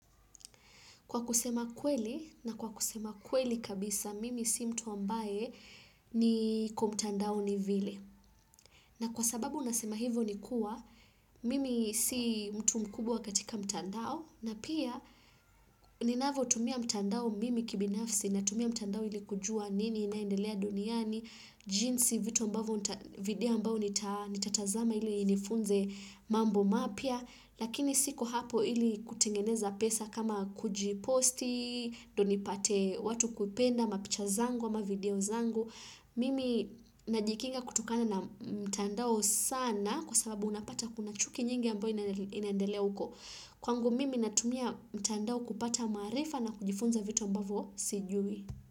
Kwa kusema kweli, na kwa kusema kweli kabisa, mimi si mtu ambaye niko mtandaoni vile. Na kwa sababu nasema hivyo ni kuwa, mimi si mtu mkubwa katika mtandao, na pia ninavyo tumia mtandao mimi kibinafsi, natumia mtandao ili kujua nini inaendelea duniani, jinsi vitu ambavyo nita video ambao nitatazama ili inifunze mambo mapya, Lakini siko hapo ili kutengeneza pesa kama kujiposti, ndio nipate watu kupenda, mapicha zangu, ama video zangu. Mimi najikinga kutokana na mtandao sana kwa sababu unapata kuna chuki nyingi ambayo inaendele huko. Kwangu mimi natumia mtandao kupata maarifa na kujifunza vitu ambavyo sijui.